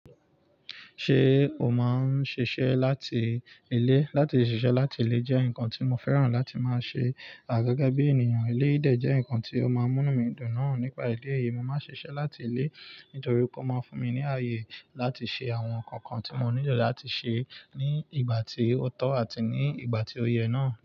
Ṣé o máa ń ṣiṣẹ́ láti ilé? Látí ṣiṣẹ́ láti ilé jẹ́ nǹkan tí mo fẹ́ràn láti máa ṣe. Gẹ́gẹ́ bí ènìyàn, eléyìí dẹ jẹ́ nǹkan tí ó máa ń múnú mi dùn náà. Nípa ìdí èyí, mo máa ń ṣiṣẹ́ láti ilé nítorí kó máa ń fún mi ní àyè láti ṣe àwọn ǹkan kan tí mo nílò láti ṣe ní ìgbà tí ó tọ́ àti ní ìgbà tí ó yẹ náà.